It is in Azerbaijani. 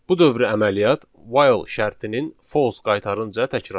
Bu dövrü əməliyyat while şərtinin false qaytarınca təkrarlanır.